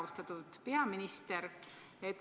Austatud peaminister!